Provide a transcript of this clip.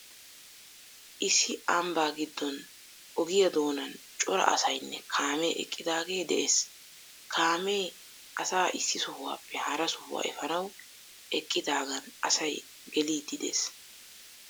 Issi ambbaa giddon ogiya doonan cora asaynne kaamee eqqidaagee de'ees. Kaamee asaa issi sohuwappe hara sohuwa efaanawu eqqidaagan asay geliiddi de'ees.